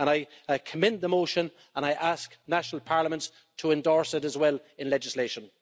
I commend the motion and I ask national parliaments to endorse it as well in legislation.